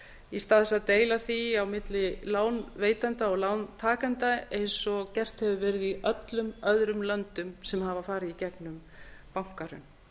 í stað þess að deila því á milli lánveitenda og lántakenda eins og gert hefur verið í öllum öðrum löndum sem hafa farið í gegnum bankahrun